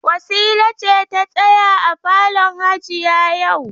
Wasila ce ta tsaya a falon hajiya yau.